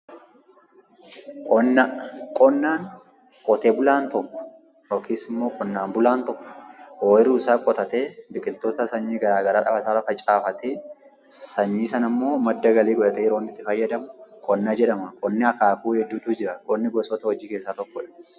Qonna. Qonnaan qotee bulaan tokko yokis immoo qonnaan bulaan tokko ooyiruusaa qotatee biqiltoota sanyii garaa garaa qaban facaafatee, sanyii sanammoo madda galii godhatee yeroonni itti fayyadamu qonna jedhama. Qonni akaakuu hedduutu jiru. Qonni gosoota hojii keessaa tokkodha.